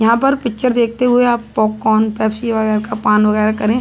यहाँ पर पिक्चर देखते हुए आप पॉपकॉर्न पेप्सी वगैरह का पान वगैरह करे --